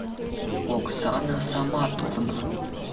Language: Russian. оксана саматовна